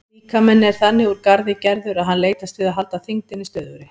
Líkaminn er þannig úr garði gerður að hann leitast við að halda þyngdinni stöðugri.